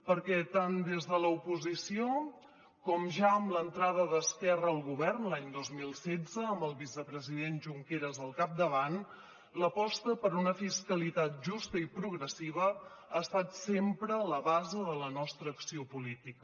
perquè tant des de l’oposició com ja amb l’entrada d’esquerra al govern l’any dos mil setze amb el vicepresident junqueras al capdavant l’aposta per una fiscalitat justa i progressiva ha estat sempre la base de la nostra acció política